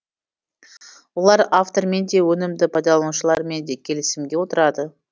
олар автормен де өнімді пайдаланушылармен де келісімге отырады